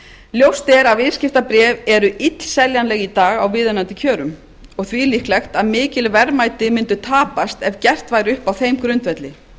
ljóst er að viðskiptabréf eru illseljanleg í dag á viðunandi kjörum og því líklegt að mikil verðmæti mundu tapast ef gert væri upp á þeim grundvelli